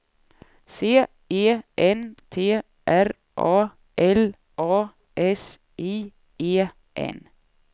C E N T R A L A S I E N